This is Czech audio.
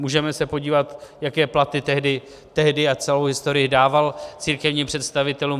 Můžeme se podívat, jaké platy tehdy a celou historii dával církevním představitelům.